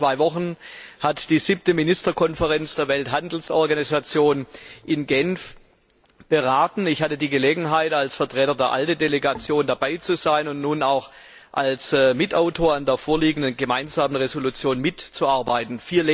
Vor zwei Wochen hat die Siebte Ministerkonferenz der Welthandelsorganisation in Genf beraten. Ich hatte die Gelegenheit, als Vertreter der ALDE Delegation dabei zu sein und nun auch als Mitverfasser an dem vorliegenden Gemeinsamen Entschließungsantrag mitzuarbeiten.